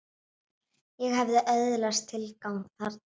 Ég hafði öðlast tilgang þarna.